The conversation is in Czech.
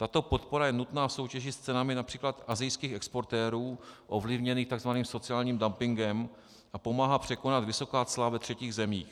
Tato podpora je nutná v soutěži s cenami například asijských exportérů ovlivněných takzvaným sociálním dumpingem a pomáhá překonat vysoká cla ve třetích zemí.